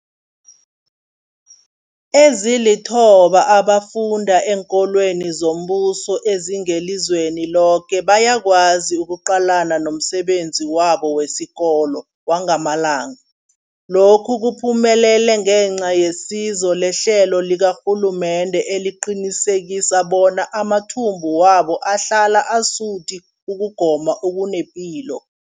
Ezilithoba abafunda eenkolweni zombuso ezingelizweni loke bayakwazi ukuqalana nomsebenzi wabo wesikolo wangamalanga. Lokhu kuphumelele ngenca yesizo lehlelo likarhulumende eliqinisekisa bona amathumbu wabo ahlala asuthi ukugoma okunepilo.